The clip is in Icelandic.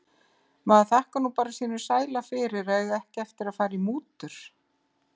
Maður þakkar nú bara sínum sæla fyrir að eiga ekki eftir að fara í mútur.